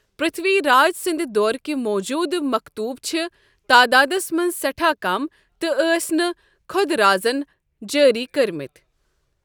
پرتھوی راج سٕنٛددورٕكۍ موٗجوٗدٕ مختوٗب چھ تعدادس منٛز سیٹھاہ كم تہِ ٲسۍ نہٕ خۄد رازن جٲری كٔرمٕتۍ ۔